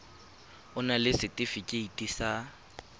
o na le setefikeiti sa